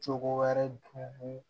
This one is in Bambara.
Cogo wɛrɛ dun